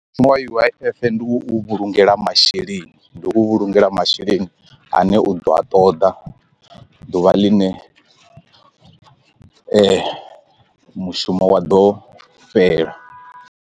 Mushumo wa U_I_F ndi u vhulungela masheleni ndi u vhulungela masheleni ane u ḓo a ṱoḓa ḓuvha ḽine u mushumo wa ḓo fhela.